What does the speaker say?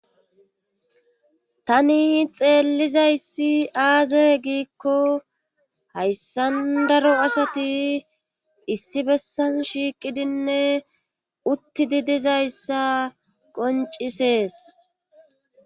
tani xeellizayssi aaze giikko hayssan daro asati issi bessan shiiqidinne utti di dizayssa qoncisees